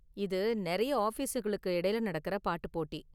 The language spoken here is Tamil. இது நெறைய ஆஃபீஸுகளுக்கு இடையில நடக்கற பாட்டு போட்டி.